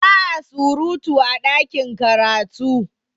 Ba a surutu a ɗakin karatu